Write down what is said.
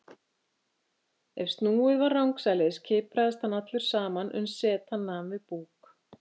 En ef snúið var rangsælis kipraðist hann allur saman uns setan nam við búk.